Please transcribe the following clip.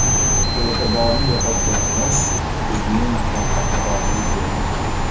E’tiborni yo‘qotganimiz bizning katta xatomiz bo‘ldi.